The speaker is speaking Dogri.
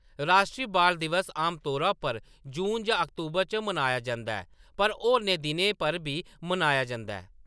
राश्ट्री बाल दिवस आमतौरा पर जून जां अक्तूबर च मनाया जंदा ऐ, पर होरनें दिनें पर बी मनाया जंदा ऐ।